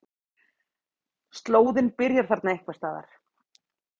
Slóðinn byrjar þarna einhvers staðar.